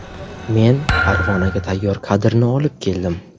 Men Farg‘onaga tayyor kadrni olib keldim.